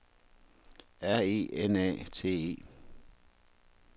R E N A T E